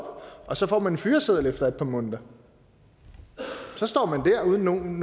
og så får man en fyreseddel efter et par måneder så står man der uden nogen